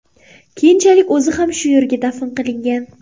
Keyinchalik o‘zi ham shu yerga dafn qilingan.